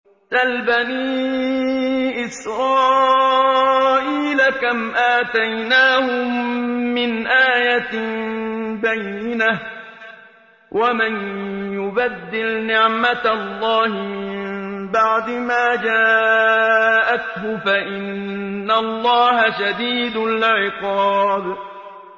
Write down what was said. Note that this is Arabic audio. سَلْ بَنِي إِسْرَائِيلَ كَمْ آتَيْنَاهُم مِّنْ آيَةٍ بَيِّنَةٍ ۗ وَمَن يُبَدِّلْ نِعْمَةَ اللَّهِ مِن بَعْدِ مَا جَاءَتْهُ فَإِنَّ اللَّهَ شَدِيدُ الْعِقَابِ